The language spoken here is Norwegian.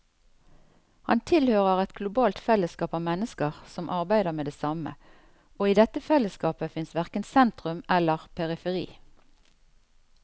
Han tilhører et globalt fellesskap av mennesker som arbeider med det samme, og i dette fellesskapet fins verken sentrum eller periferi.